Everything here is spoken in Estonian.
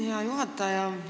Hea juhataja!